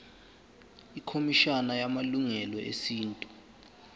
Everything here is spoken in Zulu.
ikhomishana yamalungelo esintu